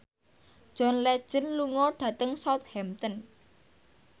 John Legend lunga dhateng Southampton